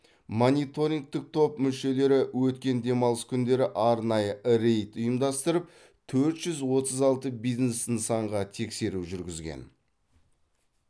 мониторингтік топ мүшелері өткен демалыс күндері арнайы рейд ұйымдастырып төрт жүз отыз алты бизнес нысанға тексеру жүргізген